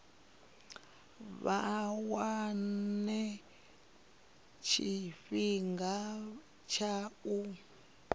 vha wane tshifhinga tsha u